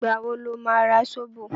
Ìgbà wo lo ma ra Sóbò?